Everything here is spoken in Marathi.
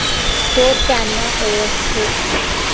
तो त्यांना ओळखतो.